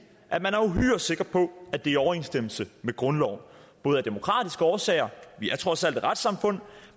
at man er uhyre sikker på at det er i overensstemmelse med grundloven både af demokratiske årsager vi er trods alt et retssamfund